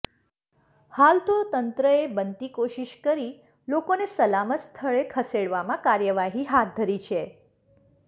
હાલ તો તંત્ર બનતી કોશિશ કરી લોકોને સલામત સ્થળે ખસેડવામાં કાર્યવાહી હાથ ધરી છે